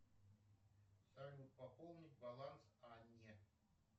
салют пополнить баланс анне